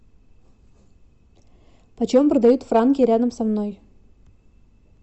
почем продают франки рядом со мной